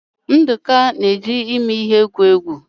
Nduka na-eji imi ya egwu egwu.